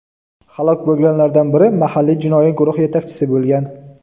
Halok bo‘lganlardan biri mahalliy jinoiy guruh yetakchisi bo‘lgan.